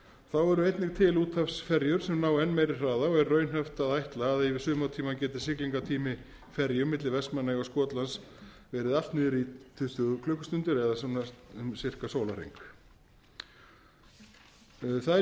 þá eru einnig til úthafsferjur sem ná enn meiri hraða og er raunhæft að ætla að yfir sumartímann geti siglingatími ferju milli vestmannaeyja og skotlands verið allt niður í tuttugu klukkustundir eða sem næst um cirka sólarhring það er